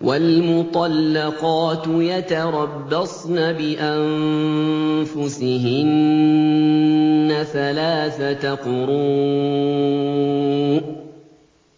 وَالْمُطَلَّقَاتُ يَتَرَبَّصْنَ بِأَنفُسِهِنَّ ثَلَاثَةَ قُرُوءٍ ۚ